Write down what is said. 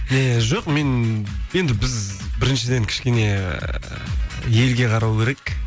не жоқ мен енді біз біріншіден кішкене ы елге қарау керек